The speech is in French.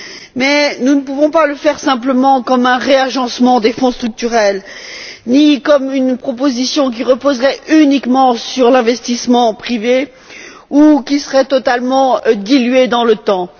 Mais nous ne pouvons pas le faire simplement comme un réagencement des Fonds structurels ni comme une proposition qui reposerait uniquement sur l'investissement privé ou qui serait totalement diluée dans le temps.